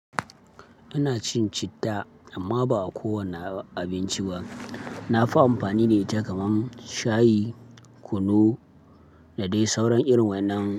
Ina cin citta amma ba a kowane abinci ba. Na fi amfani da ita kaman shayi, kunu da dai sauran irin wannan.